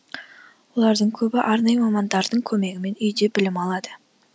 олардың көбі арнайы мамандардың көмегімен үйде білім алады